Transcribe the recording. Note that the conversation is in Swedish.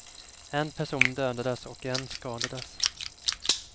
En person dödades och en skadades.